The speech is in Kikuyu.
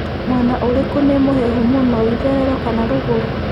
mwena ũrikũ nĩ mũhehu mũno ĩtherero kana rũgurũ